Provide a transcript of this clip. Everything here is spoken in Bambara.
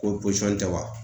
Ko tɛ wa